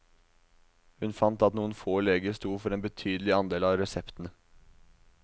Hun fant at noen få leger sto for en betydelig andel av reseptene.